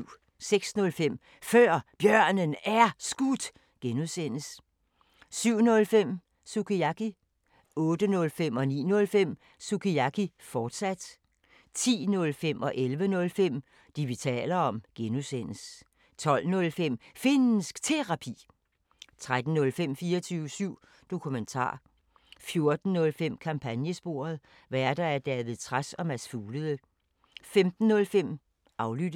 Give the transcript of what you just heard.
06:05: Før Bjørnen Er Skudt (G) 07:05: Sukiyaki 08:05: Sukiyaki, fortsat 09:05: Sukiyaki, fortsat 10:05: Det, vi taler om (G) 11:05: Det, vi taler om (G) 12:05: Finnsk Terapi 13:05: 24syv Dokumentar (G) 14:05: Kampagnesporet: Værter: David Trads og Mads Fuglede 15:05: Aflyttet